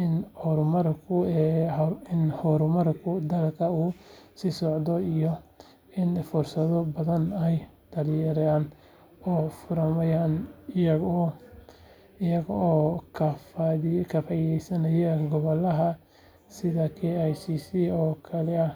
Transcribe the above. in horumarka dalka uu sii socdo iyo in fursado badan ay dhalinyarada u furmayaan iyaga oo ka faa’iidaysanaya goobaha sida KICC oo kale ah.